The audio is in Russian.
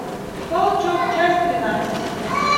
волчок часть тринадцать